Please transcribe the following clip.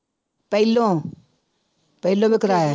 ਪਹਿਲੋਂ ਪਹਿਲੋਂ ਵੀ ਕਰਾਇਆ